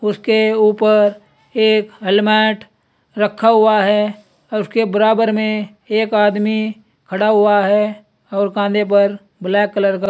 उसके ऊपर एक हेलमेट रखा हुआ है और उसके बराबर में एक आदमी खड़ा हुआ है और कांधे पर ब्लैक कलर का--